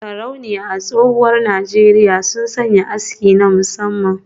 Sarauniya a tsohuwar Najeriya sun sanya aski na musamman